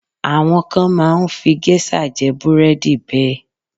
Àwọn kan máa ń fi géṣà jẹ búrẹ́dì bẹ́ẹ̀.